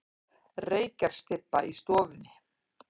Reykjarstybba í stofunni.